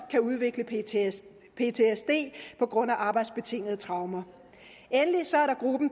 kan udvikle ptsd på grund af arbejdsbetingede traumer endelig